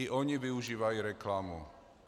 I oni využívají reklamu.